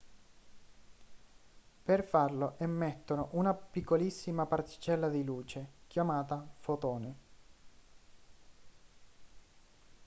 per farlo emettono una piccolissima particella di luce chiamata fotone